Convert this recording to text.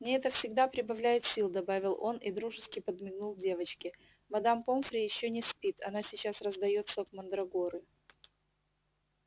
мне это всегда прибавляет сил добавил он и дружески подмигнул девочке мадам помфри ещё не спит она сейчас раздаёт сок мандрагоры